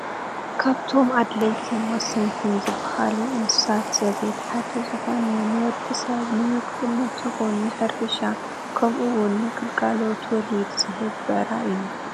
ካብቶም ኣድለይትን ወሰንትን ዝበሃሉ እንስሳ ዘቤት ሓደ ዝኾነ ንወዲሰብ ንምግብነት ይኹን ን ሕርሻ ከምኡ እውን ንግልጋሎት ወሊድ ዝህብ ብዕራይ እዩ።